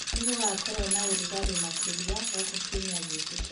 ningugakorwo na ũrũgarĩ -makĩrĩa guku kĩumĩa giukite